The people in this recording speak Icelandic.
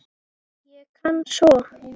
Ég kann svo